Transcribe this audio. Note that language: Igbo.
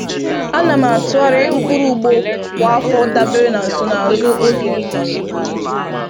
A na m atụgharị mkpụrụ ugbo kwa afọ dabere na nsonaazụ oge ịkụ